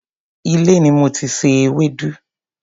ilé ni mo ti se ewédú.